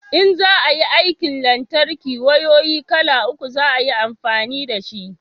in za a yin aikin lantarki wayoyi kala uku za a yi amfani da shi